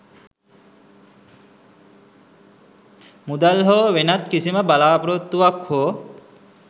මුදල් හෝ වෙනත් කිසිම බලාපොරොත්තුවක් හෝ